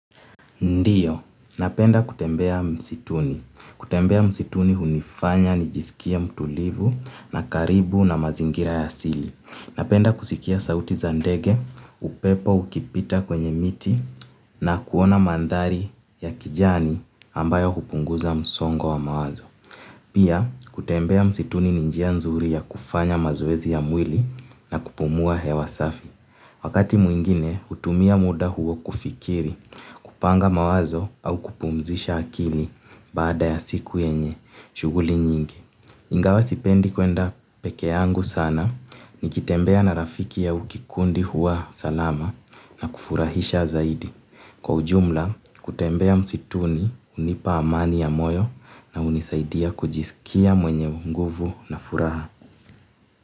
Ndiyo, napenda kutembea msituni. Kutembea msituni hunifanya nijisikie mtulivu na karibu na mazingira ya asili. Napenda kusikia sauti za ndege, upepo ukipita kwenye miti na kuona mandhari ya kijani ambayo hupunguza msongo wa mawazo. Pia, kutembea msituni ni njia nzuri ya kufanya mazoezi ya mwili na kupumua hewa safi. Wakati mwingine, hutumia muda huo kufikiri, kupanga mawazo au kupumzisha akili baada ya siku yenye, shughuli nyingi. Ingawa sipendi kwenda peke yangu sana nikitembea na rafiki au kikundi huwa salama na kufurahisha zaidi. Kwa ujumla, kutembea msituni hunipa amani ya moyo na hunisaidia kujisikia mwenye nguvu na furaha.